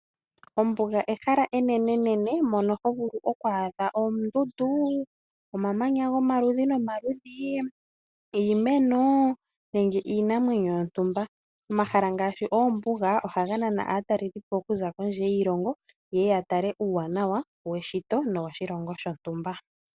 Ombuga ehala enenenene mono ho vulu oku adha oondundu, omamanya gomaludhi nomaludhi, iimeno, nenge iinamwenyo yontumba. Omahala ngaashi oombuga oha nana aatalelipo okuza kondje yiilongo yeye ya tale uuwanawa weshito, no woshilongo shontumba.